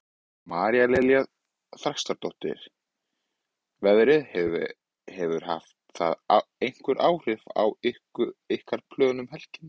María Lilja Þrastardóttir: Veðrið, hefur það haft einhver áhrif á ykkar plön um helgina?